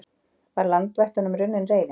Var landvættunum runnin reiðin?